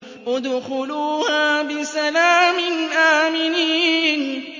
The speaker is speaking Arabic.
ادْخُلُوهَا بِسَلَامٍ آمِنِينَ